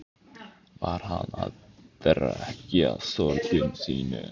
Var hann að drekkja sorgum sínum?